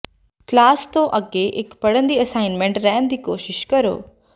class ਤੋਂ ਅੱਗੇ ਇਕ ਪੜਨ ਦੀ ਅਸਾਈਨਮੈਂਟ ਰਹਿਣ ਦੀ ਕੋਸ਼ਿਸ਼ ਕਰੋ